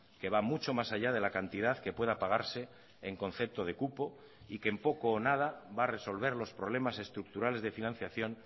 que va mucho más allá de la cantidad que pueda pagarse en concepto de cupo y que en poco o nada va a resolver los problemas estructurales de financiación